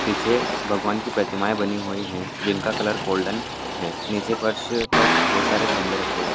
पीछे भगवान की प्रतिमाएं बनी हुई हैं जिनका कलर गोल्डन है | निचे फर्श पर बहुत सारे गमले रखे हुए हैं।